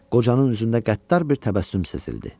Qocanın üzündə qəddar bir təbəssüm sezildi.